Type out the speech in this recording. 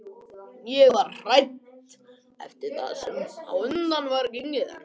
Ég var hrædd eftir það sem á undan var gengið en